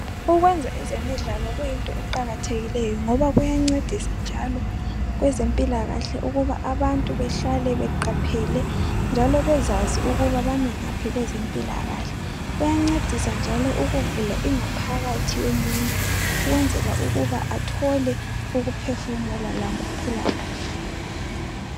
Ukwenza ezemidlalo kuyinto eqakathekile ngoba kuyancedisa njalo kwenzempilakahle ukuba abantu behlale beqaphele njalo bezazi ukuba bami ngaphi kwezempilakahle. Kuyancedisa njalo ukuvula ingaphakathi yomuntu ukwenzela ukuba athole ukuphefumula lokuphila kahle.